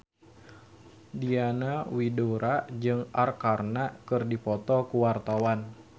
Diana Widoera jeung Arkarna keur dipoto ku wartawan